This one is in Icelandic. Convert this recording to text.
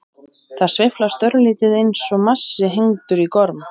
Það sveiflast örlítið eins og massi hengdur í gorm.